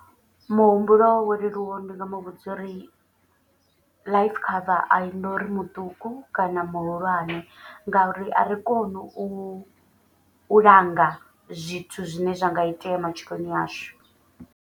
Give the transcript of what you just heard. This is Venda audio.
Muhumbulo wo leluwa ndi nga mu vhudza uri life cover a i nori muṱuku kana muhulwane. Ngauri a ri koni u langa zwithu zwine zwa nga itea matshiloni ashu.